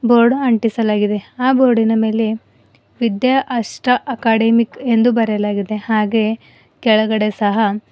board ಅಂಟಿಸಲಾಗಿದೆ ಆ ಬೋರ್ಡಿನ ಮೇಲೆ ವಿದ್ಯಾ ಅಷ್ಟ ಅಕಾದಾಮಿಕ್ ಎಂದು ಬರೆಯಲಾಗಿದೆ ಹಾಗೆ ಕೆಳಗಡೆ ಸಹ--